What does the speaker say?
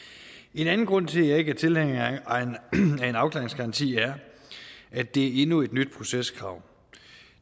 en anden grund til at jeg ikke er tilhænger af en afklaringsgaranti er at det er endnu et nyt proceskrav